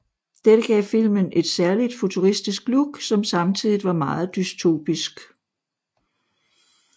Dette gav filmen et særligt futuristisk look som samtidigt var meget dystopisk